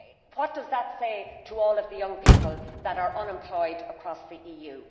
What does that say to all the young people that are unemployed across the EU?